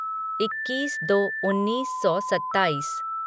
इक्कीस दो उन्नीस सौ सत्ताईस